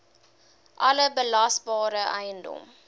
alle belasbare eiendom